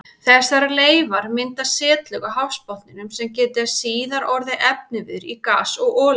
Þessar leifar mynda setlög á hafsbotninum sem geta síðar orðið efniviður í gas og olíu.